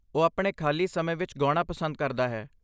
ਉਹ ਆਪਣੇ ਖਾਲੀ ਸਮੇਂ ਵਿੱਚ ਗਾਉਣਾ ਪਸੰਦ ਕਰਦਾ ਹੈ।